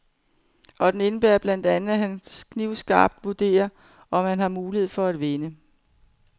Og den indebærer blandt andet, at han knivskarpt vurderer, om han har mulighed for at vinde.